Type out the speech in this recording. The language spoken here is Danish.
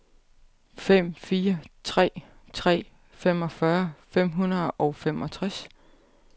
fem fire tre tre femogfyrre fem hundrede og femogtres